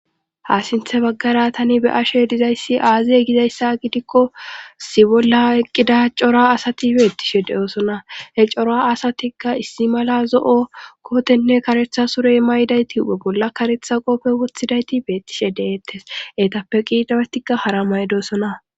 ha sinthe baggara tani be ashe dizayssi aaziye gizayssa gidikko si bolla eqqida cora asati beettishe de7oosona he cora asatikka issi mala zo7o kootenne karetha surey maydayti huphe bolla karetha qoppe wothidayti beettishe deeettes etappe qiidawetikka hara maydosona